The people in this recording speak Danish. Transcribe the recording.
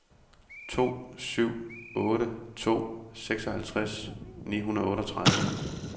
to syv otte to seksoghalvtreds ni hundrede og otteogtredive